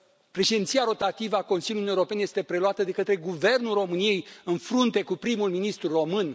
președinția rotativă a Consiliului Uniunii Europene este preluată de către Guvernul României, în frunte cu prim ministrul român?